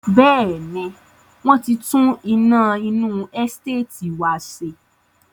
Bẹ́ẹ̀ni, wọ́n tí tún iná inú Ẹsteetì wá ṣe.